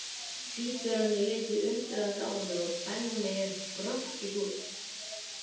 Tvíburarnir litu undrandi á mig og Benni hrökk í kút.